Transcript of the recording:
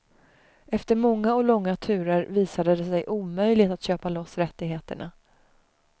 Efter många och långa turer visade det sig omöjligt att köpa loss rättigheterna.